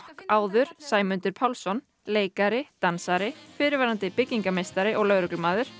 áður Sæmundur Pálsson leikari dansari fyrrverandi byggingameistari og lögreglumaður